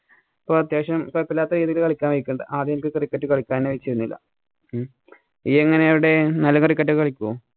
ഇപ്പൊ അത്യാവശ്യം കൊഴപ്പമില്ലാത്ത രീതിയില്‍ കളിക്കാന്‍ ആദ്യം എനിക്ക് cricket കളിക്കാനേ . ഉം ജ്ജ് എങ്ങനാ അവിടെ നല്ല cricket ഒക്കെ കളിക്കുവോ?